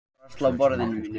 Svört hjón eignast hvítt barn